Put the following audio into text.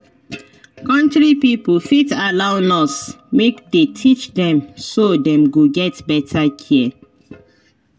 country pipo fit allow nurse make dey teach dem so dem go get better care.